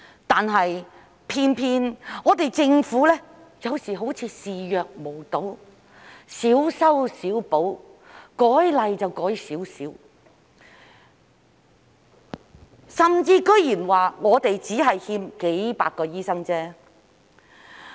但是，偏偏政府有時候好像視若無睹，小修小補，修例只修改一點，甚至竟然說香港只是欠缺數百個醫生而已。